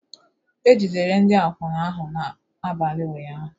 E jidere ndị akwụna ahụ n'abalị ụnyahụ